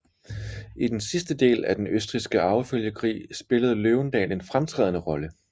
I den sidste del af Den østrigske arvefølgekrig spillede Løvendal en fremtrædende rolle